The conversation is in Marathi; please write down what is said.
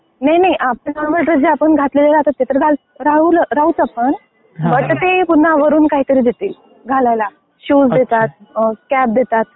नाही आपले, नाही नाही आपला नॉर्मल जे आपण घातलेले राहतो ते घालतोच तर ते काहीतरी देतील वरून घालायला. शूज देतात, कॅप देतात.